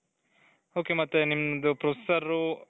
ok ಮತ್ತೆ ನಿಮ್ದು processor,